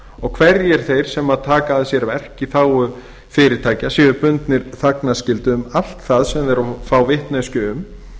og hverjir þeir sem taka að sér verk í þágu fyrirtækja séu bundnir þagnarskyldu um allt það sem þeir fá vitneskju um